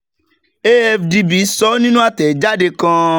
afdb sọ nínú àtẹ̀jáde kan.